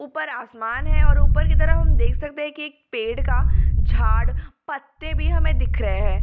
ऊपर आसमान है और ऊपर की तरफ हम देख सकते हैं कि एक पेड़ का झाड़ और पत्ते भी हमें दिख रहे हैं।